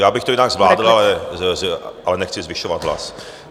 Já bych to jinak zvládl, ale nechci zvyšovat hlas.